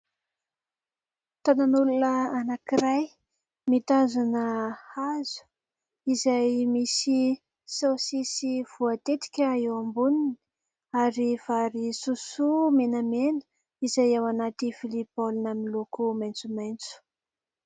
Tanan'olona anankiray mitazona hazo izay misy saosisy voatetika eo amboniny ary vary sosoa menamena izay ao anaty vilia baolina miloko maitsomaitso.